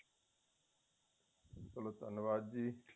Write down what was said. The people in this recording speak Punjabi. ਚਲੋ ਧੰਨਵਾਦ ਜ਼ੀ